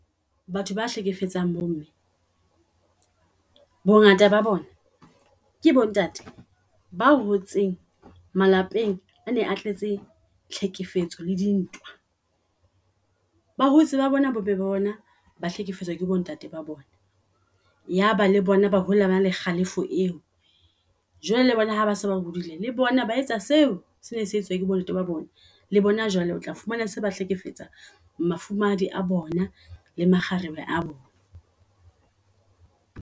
Batho ba hlekefetsang bo mme bongata ba bona ke bo ntate ba hotseng malapeng a ne a tletse tlhekefetso le di ntwa. Ba hotse ba bona bo mme bona ba hlekefetswa ke bo ntate ba bona uaba le bona ba hola bana le kgalefo eo. Jwale le bona ha base ba hodileng le bona ba etsa seo sene se etswa ke bo ntate ba bona. Le bona jwale otla fumana se ba hlekefetsa mafumahadi a bona le makgarebe a bona.